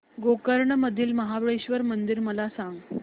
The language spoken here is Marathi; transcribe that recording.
गोकर्ण मधील महाबलेश्वर मंदिर मला सांग